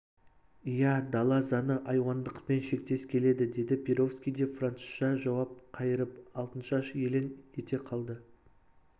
иә дала заңы айуандықпен шектес келеді деді перовский де французша жауап қайырып алтыншаш елең ете қалды